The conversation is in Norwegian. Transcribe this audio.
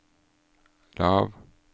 lav